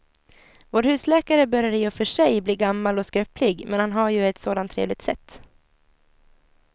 Vår husläkare börjar i och för sig bli gammal och skröplig, men han har ju ett sådant trevligt sätt!